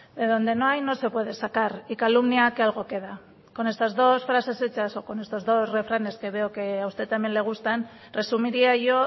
de donde no hay no se puede sacar y calumnia que algo queda con estas dos frases hechas o con estos dos refranes que veo que a usted también le gustan resumiría yo